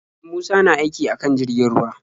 Musa na aiki akan jirgin ruwa.